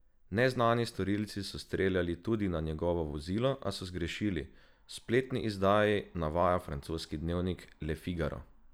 Neznani storilci so streljali tudi na njegovo vozilo, a so zgrešili, v spletni izdaji navaja francoski dnevnik Le Figaro.